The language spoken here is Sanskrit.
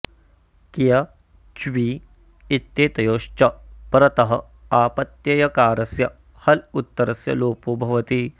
क्य च्वि इत्येतयोश्च परतः आपत्ययकारस्य हल उत्तरस्य लोपो भवति